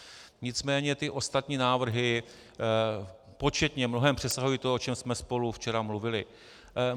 Nicméně ty ostatní návrhy početně mnohem přesahují to, o čem jsme spolu včera mluvili.